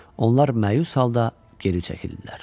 Onlar məyus halda geri çəkildilər.